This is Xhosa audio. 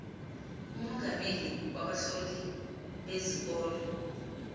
umongameli wabahloli bezikolo